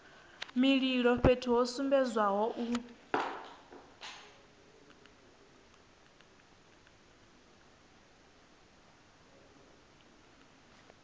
mililo fhethu ho sumbedzwaho hu